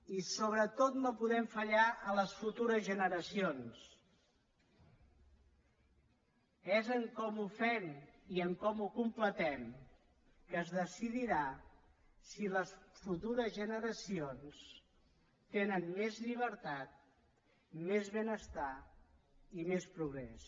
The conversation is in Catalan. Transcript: i sobretot no podem fallar a les futures generacions és com ho fem i com ho completem que es decidirà si les futures generacions tenen més llibertat més benestar i més progrés